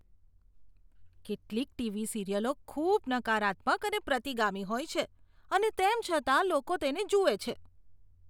કેટલીક ટીવી સિરિયલો ખૂબ નકારાત્મક અને પ્રતિગામી હોય છે, અને તેમ છતાં લોકો તેને જુએ છે.